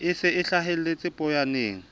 e se e hlahelletse poyaneng